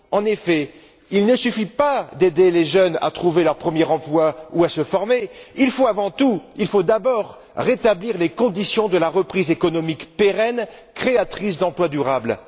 En effet, il ne suffit pas d'aider les jeunes à trouver leur premier emploi ou à se former, il faut d'abord rétablir les conditions d'une reprise économique pérenne, créatrice d'emplois durables.